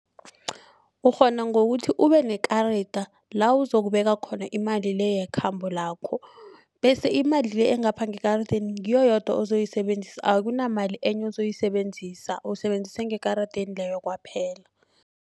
Ukghona ngokuthi ubenekarada la kuzokubeka khona imali le yekhambo lakho bese imali le engapha ngekaradeni ngiyo yodwa ozoyisebenzisa akunamali enye ozoyisebenzisa usebenzise engekaradeni leyo kwaphela.